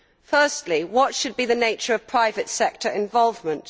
Firstly, what should be the nature of private sector involvement?